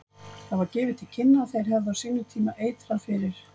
Það var gefið til kynna að þeir hefðu á sínum tíma eitrað fyrir